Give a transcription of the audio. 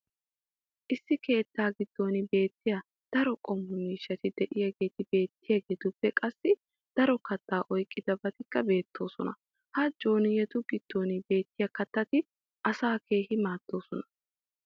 issi keettaa giddon beettiyta daro qommo miishshati diyaageeti beettiyaagetuppe qassi daro kataa oyqqidabatikka beetoosona. ha jooniyattu giddon beetiya katatti asaa keehi maadoosona.